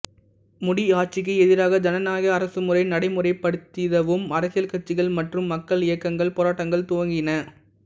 முடியாட்சிக்கு எதிராக ஜனநாயக அரசு முறை நடைமுறைப்படுத்திடவும் அரசியல் கட்சிகள் மற்றும் மக்கள் இயக்கங்கள் போராட்டங்கள் துவங்கின